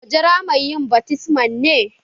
Mu jira mai yin baftisman ne?